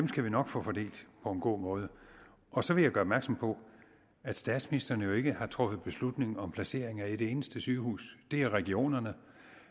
skal vi nok få fordelt på en god måde og så vil jeg gøre opmærksom på at statsministeren jo ikke har truffet beslutningen om placering af et eneste sygehus det er regionerne